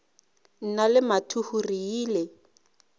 nna le mathuhu re ile